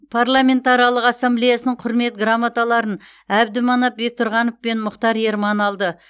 парламентаралық ассамблеясының құрмет грамоталарын әбдіманап бектұрғанов пен мұхтар ерман алды